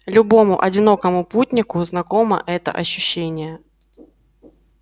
любому одинокому путнику знакомо это ощущение